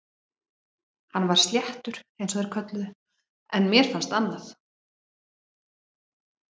Hann var sléttur eins og þeir kölluðu það en mér fannst annað.